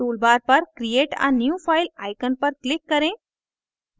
toolbar पर create a new file icon पर click करें